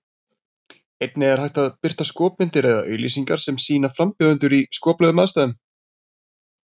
Einnig er hægt að birta skopmyndir eða auglýsingar sem sýna frambjóðendur í skoplegum aðstæðum.